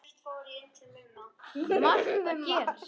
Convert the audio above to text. Margt gerst.